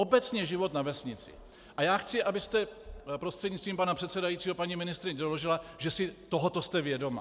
Obecně život na vesnici, a já chci, abyste prostřednictvím pana předsedajícího paní ministryně, doložila, že si tohoto jste vědoma.